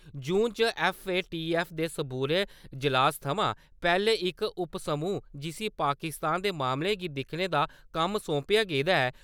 जून च FATF दे सबूरे इजलास थमां पैह्लै , इक उपसमूह , जिस्सी पाकिस्तान दे मामले गी दिक्खने दा कम्म सौंपेआ गेदा ऐ।